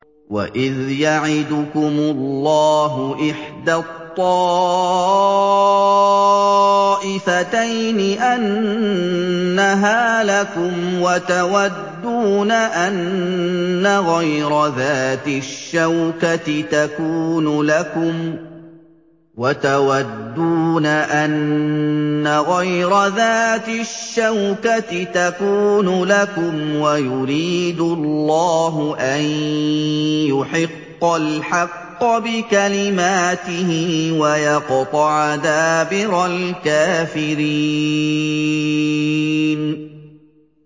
وَإِذْ يَعِدُكُمُ اللَّهُ إِحْدَى الطَّائِفَتَيْنِ أَنَّهَا لَكُمْ وَتَوَدُّونَ أَنَّ غَيْرَ ذَاتِ الشَّوْكَةِ تَكُونُ لَكُمْ وَيُرِيدُ اللَّهُ أَن يُحِقَّ الْحَقَّ بِكَلِمَاتِهِ وَيَقْطَعَ دَابِرَ الْكَافِرِينَ